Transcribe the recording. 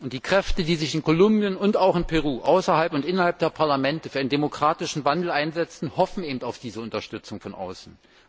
Die Kräfte, die sich in Kolumbien und auch in Peru außerhalb und innerhalb der Parlamente für einen demokratischen Wandel einsetzen, hoffen auf diese Unterstützung von außen.